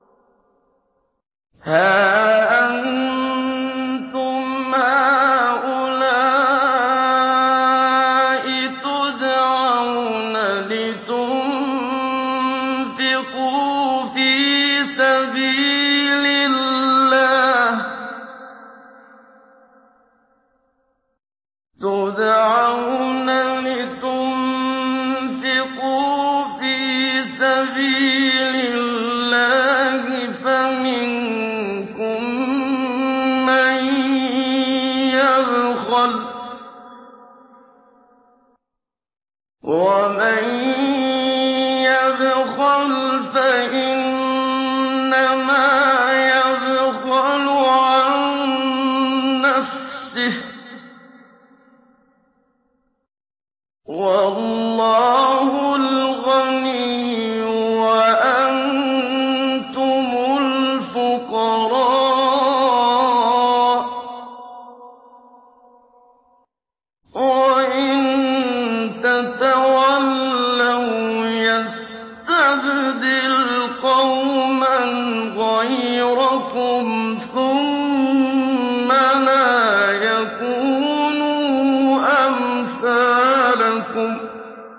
هَا أَنتُمْ هَٰؤُلَاءِ تُدْعَوْنَ لِتُنفِقُوا فِي سَبِيلِ اللَّهِ فَمِنكُم مَّن يَبْخَلُ ۖ وَمَن يَبْخَلْ فَإِنَّمَا يَبْخَلُ عَن نَّفْسِهِ ۚ وَاللَّهُ الْغَنِيُّ وَأَنتُمُ الْفُقَرَاءُ ۚ وَإِن تَتَوَلَّوْا يَسْتَبْدِلْ قَوْمًا غَيْرَكُمْ ثُمَّ لَا يَكُونُوا أَمْثَالَكُم